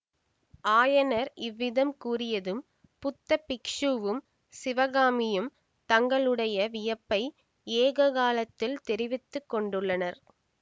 ஆயனர் இவ்விதம் கூறியதும் புத்த பிக்ஷுவும் சிவகாமியும் தங்களுடைய வியப்பை ஏககாலத்தில் தெரிவித்து கொண்டார்கள்